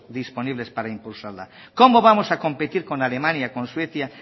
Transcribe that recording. disponibles para impulsarla cómo vamos a competir con alemania con suecia